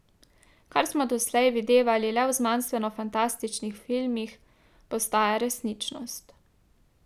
Kar smo doslej videvali le v znanstvenofantastičnih filmih, postaja resničnost.